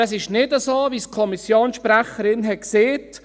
Aber es ist nicht so, wie es die Kommissionssprecherin gesagt hat.